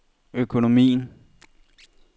økonomien